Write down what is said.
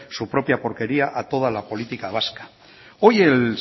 su propia porquería a toda la política vasca hoy el